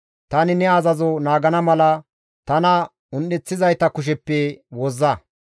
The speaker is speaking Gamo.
Tani ne azazo naagana mala tana un7eththizayta kusheppe wozza.